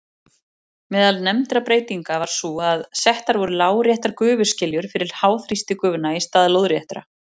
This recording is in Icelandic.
Meðal nefndra breytinga var sú að settar voru láréttar gufuskiljur fyrir háþrýstigufuna í stað lóðréttra.